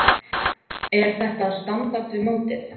Er þetta á standard við mótið?